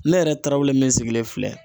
Ne yɛrɛ tarawelele min sigilen filɛ.